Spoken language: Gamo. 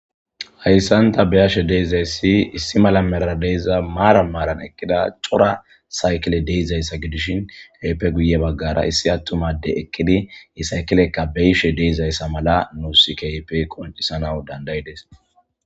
hayssanta beyashe deizayssi issi mala mera deyza maaran maaran ekkida cora saykele deizayssa gidishin kaype guye baggara issi attumade ekkidi yi saykilekka beyishe deizayssa mala nuussi kaype qoncisanaw dandayides